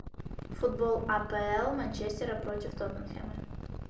футбол апл манчестера против тоттенхэма